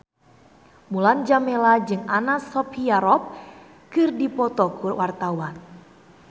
Mulan Jameela jeung Anna Sophia Robb keur dipoto ku wartawan